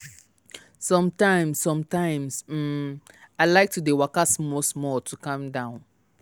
sometimes sometimes um i like to dey waka small to calm down.